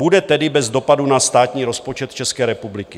Bude tedy bez dopadu na státní rozpočet České republiky.